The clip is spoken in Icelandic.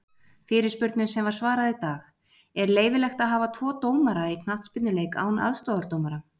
Fyrirspurnum sem var svarað í dag:-Er leyfilegt að hafa tvo dómara í knattspyrnuleik án aðstoðardómara?